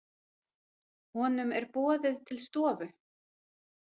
Honum er boðið til stofu.